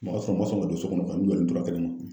Mɔgɔ sɔrɔ o man sɔn ka don so kɔnɔ ka n'u yɛrɛ